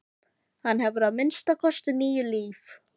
Hann hefur að minnsta kosti níu líf.